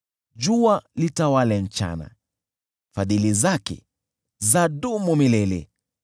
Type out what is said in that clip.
Jua litawale mchana, Fadhili zake zadumu milele .